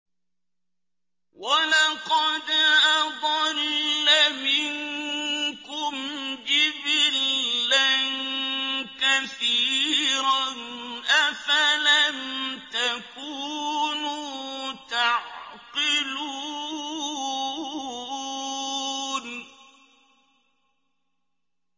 وَلَقَدْ أَضَلَّ مِنكُمْ جِبِلًّا كَثِيرًا ۖ أَفَلَمْ تَكُونُوا تَعْقِلُونَ